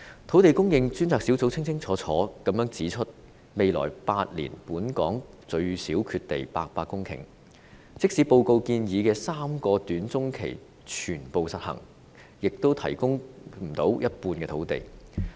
土地供應專責小組清楚指出，未來8年本港最少缺地800公頃，即使報告建議的3個短中期方案全部實行，也無法提供一半的土地。